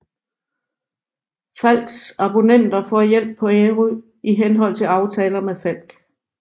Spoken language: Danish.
Falcks abonnenter får hjælp på Ærø i henhold til aftaler med Falck